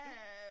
Ja